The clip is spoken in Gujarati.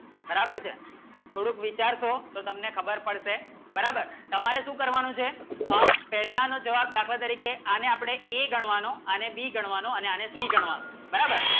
બરાબર છે થોડુંક વિચારશો તો તમને ખબર પડશે બરાબર તમારે શું કરવાનું છે આ પહેલાનું જવાબ દાખવા તરીકે આને આપડે એ ગણવાનું A ગણવાનો B ગણવાનું અને આનું c ગણવાનું